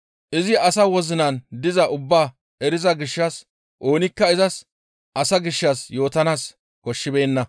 Izi asa wozinan dizaa ubbaa eriza gishshas oonikka izas asa gishshas yootanaas koshshibeenna.